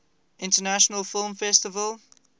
international film festival